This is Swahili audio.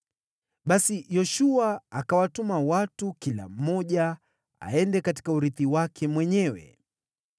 Basi Yoshua akawatuma watu kila mmoja aende katika urithi wake mwenyewe.